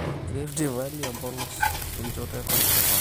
riftvalley, empolos oo enchoto e kopikop